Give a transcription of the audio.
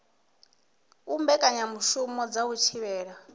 u mbekanyamushumo dza u thivhela